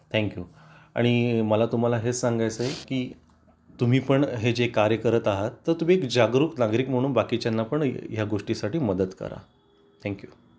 thank you आणि मला तुम्हाला हे सांगायचे आहे की तुम्ही पण हे जे कार्य करत आहात तर तुम्ही जागरूक नागरिक म्हणून बाकीच्या पण या गोष्टी साठी मदत करा थँक यू